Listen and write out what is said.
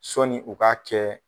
Sɔni u k'a kɛ